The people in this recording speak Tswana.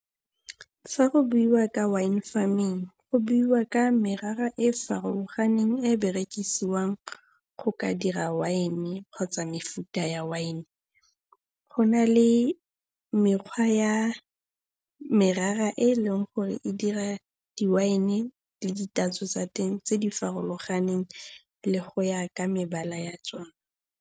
Fa go buiwa ka wine farming go buiwa ka merara e e farologaneng e e berekisiwang go ka dira wine kgotsa mefuta ya wine. Go na le mekgwa ya merara e e leng gore e dira di-wine le ditatso tsa teng tse di farologaneng le go ya ka mebala ya tsona.